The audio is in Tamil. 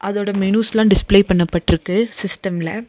அதோட மெனுஸ்லா டிஸ்ப்ளே பண்ணப்பட்ருக்கு சிஸ்டம்ல .